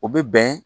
O bɛ bɛn